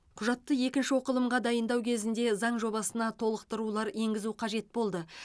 құжатты екінші оқылымға дайындау кезінде заң жобасына толықтырулар енгізу қажет болды